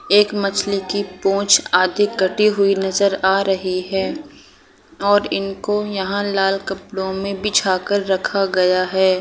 एक मछली की पुंछ आधी कटी हुई नज़र आ रही है और इनको यहाँ लाल कपड़ो में बिछा कर रखा गया है।